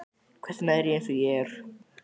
Hvers vegna er ég eins og ég er?